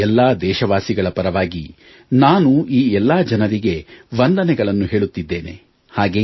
ಇಂದು ಎಲ್ಲಾ ದೇಶವಾಸಿಗಳ ಪರವಾಗಿ ನಾನು ಈ ಎಲ್ಲಾ ಜನರಿಗೆ ವಂದನೆಗಳನ್ನು ಹೇಳುತ್ತಿದ್ದೇನೆ